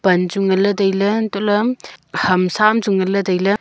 pan chu ngan ley tai ley entoh ham sa am chu ngan tai ley.